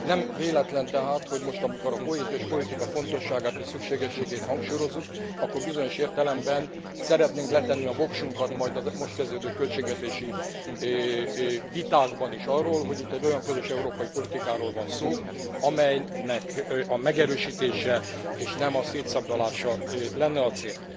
Nem véletlen tehát, hogy most, amikor a kohéziós politika fontosságát és szükségességét hangsúlyozzuk, akkor bizonyos értelemben szeretnénk letenni a voksunkat majd a most kezdődő költségvetési vitákban is arról, hogy itt egy olyan közös európai politikáról van szó, amelynek a megerősítése és nem a szétszabdalása lenne a cél.